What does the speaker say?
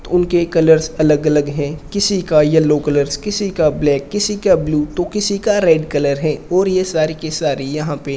उनके कलर्स अलग अलग हैं किसी का येलो कलर्स किसी का ब्लैक किसी का ब्लू तो किसी का रेड कलर है और ये सारी की सारी यहां पे --